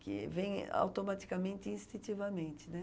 que vem automaticamente e instintivamente, né?